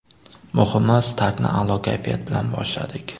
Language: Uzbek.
Muhimi startni a’lo kayfiyat bilan boshladik.